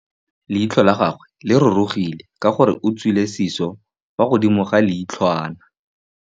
Leitlhô la gagwe le rurugile ka gore o tswile sisô fa godimo ga leitlhwana.